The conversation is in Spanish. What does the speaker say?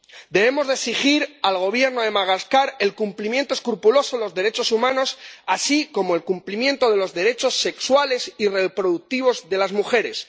Debemos exigir al Gobierno de Madagascar el cumplimiento escrupuloso de los derechos humanos, así como el cumplimiento de los derechos sexuales y reproductivos de las mujeres.